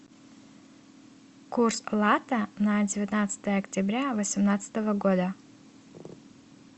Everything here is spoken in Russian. курс лата на девятнадцатое октября восемнадцатого года